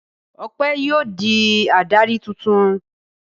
Ọpẹ́ yóò di adarí tuntun.